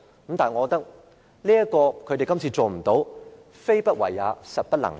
不過，我認為他們這次沒有這樣做，非不為也，實不能也。